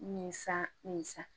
Nin san nin san